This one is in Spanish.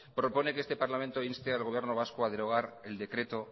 propone que este parlamento inste al gobierno vasco a derogar el decreto